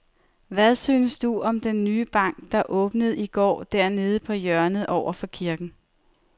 Hvad synes du om den nye bank, der åbnede i går dernede på hjørnet over for kirken?